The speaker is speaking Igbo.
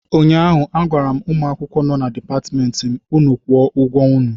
ụnyahụ agwara m ụmụ akwụkwọ nọ Dipatmentị na m, unu kwụọ ụgwọ unu!